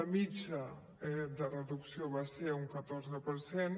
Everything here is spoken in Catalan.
la mitjana eh de reducció va ser un catorze per cent